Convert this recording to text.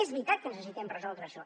és veritat que necessitem resoldre això